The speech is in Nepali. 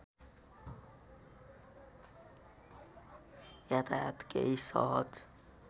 यातायात केही सहज